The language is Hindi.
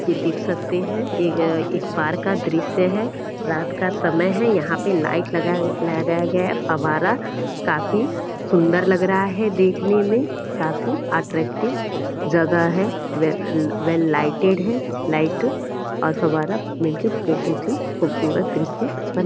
ये देख सकते हैं ये एक पार्क का दृश्य है रात का समय है यहाँ पे लाइट लगाया लगाया गया है फवारा काफ़ी सुंदर लग रहा है देखने में काफ़ी अट्रैक्टिव जगह है वेल वेल लाइटेड लाइट और फवारा मिलके बहुत ही खूबसूरत दृश्य बन --